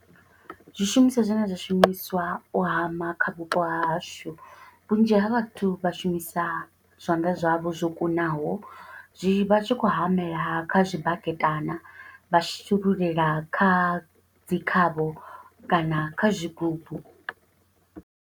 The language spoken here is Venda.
Zwishumiswa zwine zwa shumiswa u hama kha vhupo ha hashu, vhunzhi ha vhathu vha shumisa zwanḓa zwavho zwo kunaho, zwi vha tshi khou hamela ha kha zwibaketana, vha shululela kha dzi khavho, kana kha zwigubu.